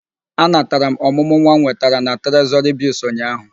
Anatara m ọmụmụ nwa m nwetara na Trezọrị Bịlls ụnyaahụ.